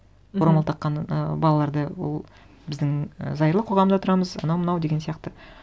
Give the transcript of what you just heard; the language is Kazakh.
мхм орамал таққан і балаларды ол біздің і зайырлы қоғамда тұрамыз анау мынау деген сияқты